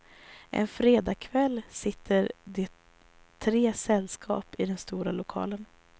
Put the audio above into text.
En fredag kväll sitter det tre sällskap i den stora lokalen.